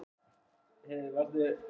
Þorláksson frá Varmadal á Kjalarnesi.